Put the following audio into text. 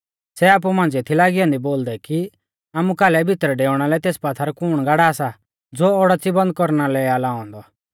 सै आपु मांझ़िऐ थी लागी औन्दी बोलदै कि आमु कालै भितरै डेउणा लै तेस पात्थर कुण गाड़ा सा ज़ो ओडाच़ी बंद कौरना लै आ लाऔ औन्दौ